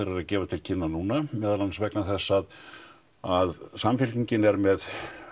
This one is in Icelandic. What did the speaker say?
eru að gefa til kynna núna meðal annars vegna þess að að Samfylkingin er með